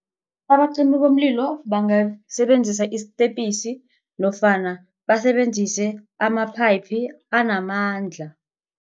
Abacimi bomlilo bangasebenzisa isistepisi nofana basebenzise amaphayiphu anamandla.